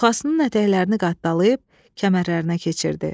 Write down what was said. Çuxasının ətəklərini qatdalayıb, kəmərlərinə keçirdi.